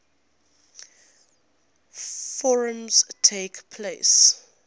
forms takes place